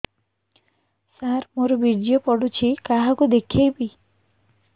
ସାର ମୋର ବୀର୍ଯ୍ୟ ପଢ଼ୁଛି କାହାକୁ ଦେଖେଇବି